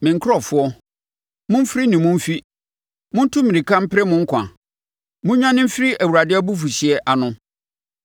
“Me nkurɔfoɔ, Momfiri ne mu mfi! Montu mmirika mpere mo nkwa! Monnwane mfiri Awurade abufuhyeɛ ano.